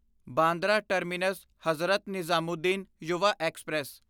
Bandra terminus Hazrat Nizamuddin Yuva express